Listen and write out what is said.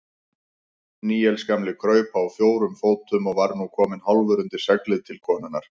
Níels gamli kraup á fjórum fótum og var nú kominn hálfur undir seglið til konunnar.